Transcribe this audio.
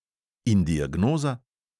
In diagnoza?